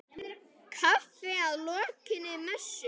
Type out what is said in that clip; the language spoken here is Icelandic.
Kaffi að lokinni messu.